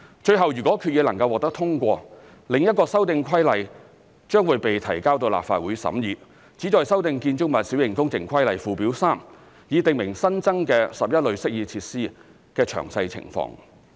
最後，如果決議能夠獲得通過，另一修訂規例將會被提交到立法會審議，旨在修訂《建築物規例》附表 3， 以訂明新增的11類適意設施的詳細情況。